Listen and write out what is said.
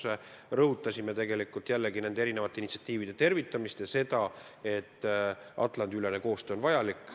Me rõhutasime oma ettepanekus nende erinevate initsiatiivide tervitamist ja seda, et Atlandi-ülene koostöö on vajalik.